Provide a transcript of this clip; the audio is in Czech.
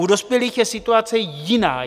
U dospělých je situace jiná.